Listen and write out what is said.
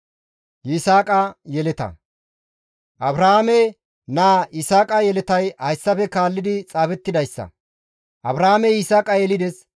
Abrahaame naa Yisaaqa yeletay hayssafe kaalli xaafettidayssa. Abrahaamey Yisaaqa yelides.